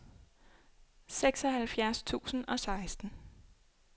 seksoghalvfjerds tusind og seksten